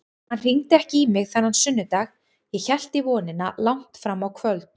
Hann hringdi ekki í mig þennan sunnudag, ég hélt í vonina langt fram á kvöld.